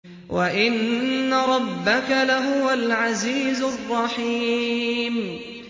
وَإِنَّ رَبَّكَ لَهُوَ الْعَزِيزُ الرَّحِيمُ